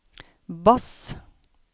bass